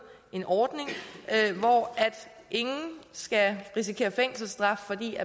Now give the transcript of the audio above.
en ordning hvor ingen skal risikere fængselsstraf fordi